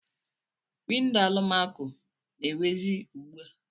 Windo alụmako na-ewizi ugbua.